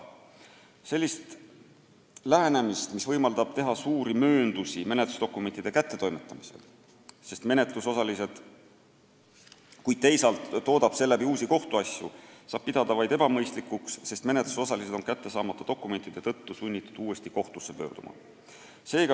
Sellist lähenemist, mis võimaldab teha suuri mööndusi menetlusdokumentide kättetoimetamisel, kuid teisalt toodab uusi kohtuasju, saab pidada vaid ebamõistlikuks, sest menetlusosalised on kätte saamata dokumentide tõttu sunnitud uuesti kohtusse pöörduma.